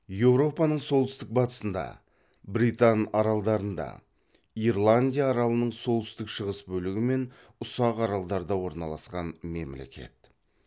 еуропаның солтүстік батысында британ аралдарында ирландия аралының солтүстік шығыс бөлігі мен ұсақ аралдарда орналасқан мемлекет